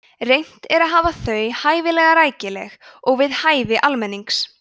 reynt er að hafa þau hæfilega rækileg og við hæfi almennings